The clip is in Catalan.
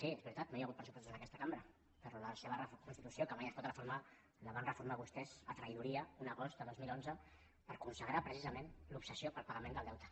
sí és veritat no hi ha hagut pressupostos en aquesta cambra però la seva constitució que mai es pot reformar la van reformar vostès amb traïdoria un agost de dos mil onze per consagrar precisament l’obsessió pel pagament del deute